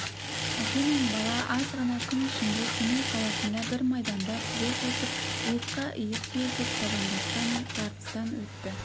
әке мен бала аз ғана күн ішінде семей қаласында бір майданда тізе қосып иыққа иық сүйесіп табандасқан тартыстан өтті